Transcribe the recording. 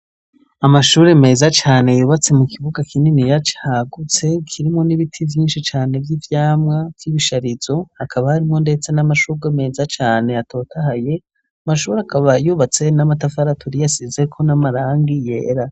Amashuri meza cane yubatse mu kibuga kininiya cagutse kirimwo n'ibiti vyinshi cane vy'ivyamwa vy'ibisharizo, hakaba harimwo ndetse n'amashurwe meza cane atotahaye, amashuri akaba yubatse n'amatafari aturiye asizeko n'amarangi yera.